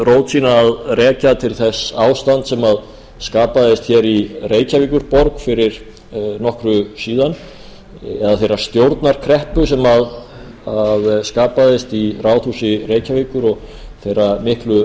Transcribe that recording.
að rekja til þess ástands sem skapaðist hér í reykjavíkurborg fyrir nokkru síðan eða þeirrar stjórnarkreppu sem skapaðist í ráðhúsi reykjavíkur og þeirra miklu